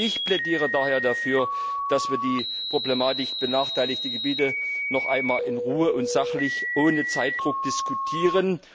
Ich plädiere daher dafür, dass wir über die benachteiligten Gebiete noch einmal in Ruhe und sachlich, ohne Zeitdruck, diskutieren.